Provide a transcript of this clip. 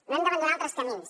no hem d’abandonar altres camins